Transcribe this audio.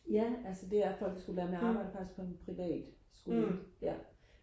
ja altså det er folkeskolelærer men jeg arbejder fatisk på en privatskole ja